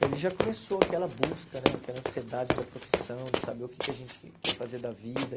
E ali já começou aquela busca né, aquela ansiedade da profissão, de saber o que que a gente quer fazer da vida.